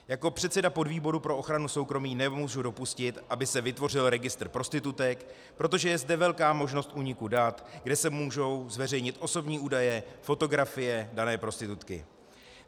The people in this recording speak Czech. Jako předseda podvýboru pro ochranu soukromí nemůžu dopustit, aby se vytvořil registr prostitutek, protože je zde velká možnost úniku dat, kde se můžou zveřejnit osobní údaje, fotografie dané prostitutky.